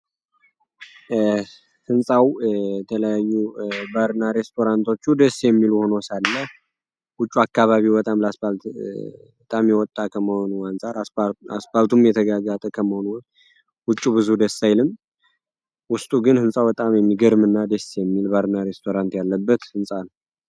ሕንፃው የተለያዩ ባርና ሬስቶራንቶቹ ደስ የሚሉ ሆኖ ሳለ ውጩ አካባቢው በጣም ለስፓልት በጣም የወጣ ከመሆኑ አንፃር አስፓልቱም የተጋጋጠ ከመሆኑ ውጩ ብዙ ደስ አይልም ውስጡ ግን ሕንፃው በጣም የሚገርም እና ዴስ የሚል ባርና ሬስቶራንት ያለበት ሕንፃ ነው።